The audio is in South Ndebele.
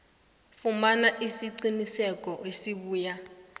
fumana isiqinisekiso esibuya